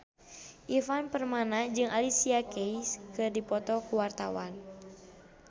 Ivan Permana jeung Alicia Keys keur dipoto ku wartawan